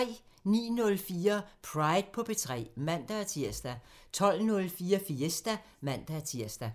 09:04: Pride på P3 (man-tir) 12:04: Fiesta (man-tir)